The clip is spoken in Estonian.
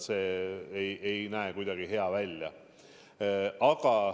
See ei näe kuidagi hea välja.